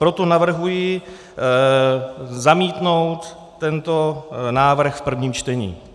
Proto navrhuji zamítnout tento návrh v prvním čtení.